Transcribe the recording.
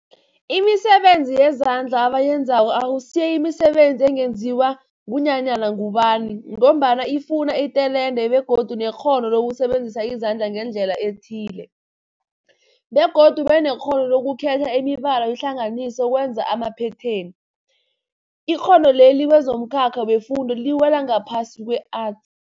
Imisebenzi yezandla abayenzako akusiyo imisebenzi ungenziwa ngunyana ngubani mgombana ifuna itelente begodu nekghono lokusebenzisa izandla ngendlela ethile, begodu ubenekghono lokukhetha imibala uyihlanganise ukwenza amaphetheni. Ikghono leli kwezomkhakha wefundo liwela ngaphasi kwe-Arts.